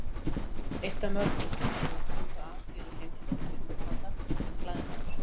Eitt af mörgu sem þarf að huga að fyrir heimsókn til útlanda er klæðnaður.